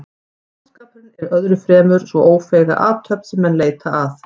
Skáldskapurinn er öðru fremur sú ófeiga athöfn sem menn leita að.